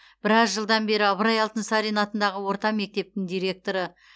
біраз жылдан бері ыбырай алтынсарин атындағы орта мектептің директоры